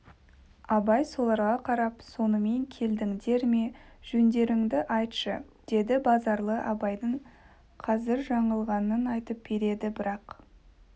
абай соларға қарап сонымен келдіңдер ме жөндеріңді айтшы деді базаралы абайдың қазір жаңылғанын айтып берді бірақ